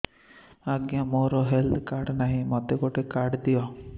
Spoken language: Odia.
ଆଜ୍ଞା ମୋର ହେଲ୍ଥ କାର୍ଡ ନାହିଁ ମୋତେ ଗୋଟେ କାର୍ଡ ଦିଅ